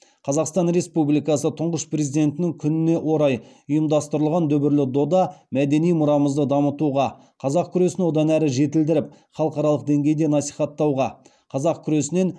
қазақстан республикасы тұңғыш президентінің күніне орай ұйымдастырылған дүбірлі дода мәдени мұрамызды дамытуға қазақ күресін одан әрі жетілдіріп халықаралық деңгейде насихаттауға қазақ күресінен